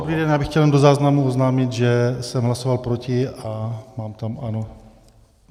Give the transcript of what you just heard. Dobrý den, já bych chtěl jenom do záznamu oznámit, že jsem hlasoval proti, a mám tam ano.